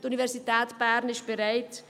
Die Universität ist bereit.